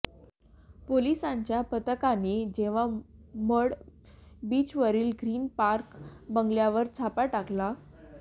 पोलिसांच्या पथकाने जेव्हा मढ बीचवरील ग्रीन पार्क बंगल्यावर छापा टाकला